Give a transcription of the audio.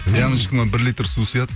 ямочкама бір литр су сияды